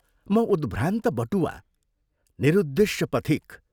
म उद्भ्रान्त बटुवा, निरुद्देश्य पथिक।